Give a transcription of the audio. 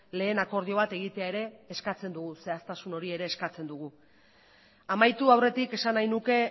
lehen akordio bat egitea ere eskatzen dugu zehaztasun hori ere eskatzen dugu amaitu aurretik esan nahi nuke